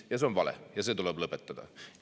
Ja see on vale ja see tuleb lõpetada.